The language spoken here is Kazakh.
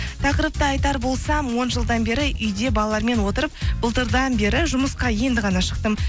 тақырыпты айтар болсам он жылдан бері үйде балалармен отырып былтырдан бері жұмысқа енді ғана шықтым